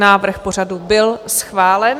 Návrh pořadu byl schválen.